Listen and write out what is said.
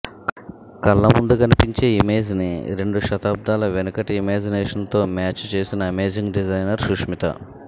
కళ్లముందు కనిపించే ఇమేజ్ని రెండు శతాబ్దాల వెనకటి ఇమాజినేషన్తోమ్యాచ్ చేసిన అమేజింగ్ డిజైనర్ సుస్మిత